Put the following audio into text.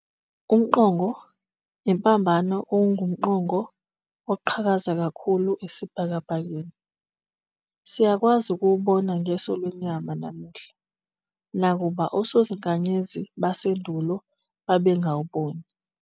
UmQongo ImPambano, okungumqongo oqhakaza kakhulu esibhakabhakeni, siyakwazi ukuwubona ngeso lwenyama namuhla, nakuba osozinkanyezi basendulo babengawuboni.